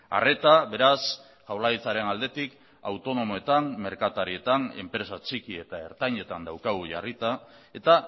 arreta beraz jaurlaritzaren aldetik autonomoetan merkatarietan enpresa txiki eta ertainetan daukagu jarrita eta